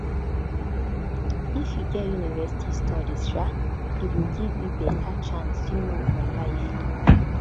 if you get university studies um e go give you beta chance um for life